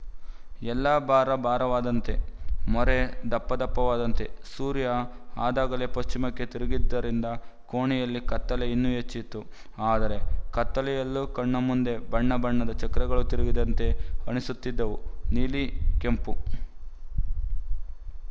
ಎಲ್ಲ ಭಾರ ಭಾರವಾದಂತೆ ಮೋರೆ ದಪ್ಪದಪ್ಪವಾದಂತೆ ಸೂರ್ಯ ಅದಾಗಲೇ ಪಶ್ಚಿಮಕ್ಕೆ ತಿರುಗಿದ್ದರಿಂದ ಕೋಣೆಯಲ್ಲಿಯ ಕತ್ತಲೆ ಇನ್ನೂ ಹೆಚ್ಚಿತ್ತು ಆದರೆ ಆ ಕತ್ತಲೆಯಲ್ಲೂ ಕಣ್ಣಮುಂದೆ ಬಣ್ಣಬಣ್ಣದ ಚಕ್ರಗಳು ತಿರುಗಿದಂತೆ ಅನಿಸುತ್ತಿದ್ದವು ನೀಲಿ ಕೆಂಪು